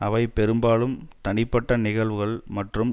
அவை பெரும்பாலும் தனிப்பட்ட நிகழ்வுகள் மற்றும்